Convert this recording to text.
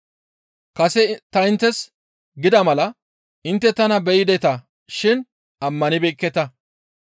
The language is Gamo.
Kase ta inttes gida mala intte tana beyideta shin ammanibeekketa.